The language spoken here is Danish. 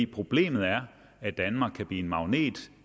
problemet er at danmark kan blive en magnet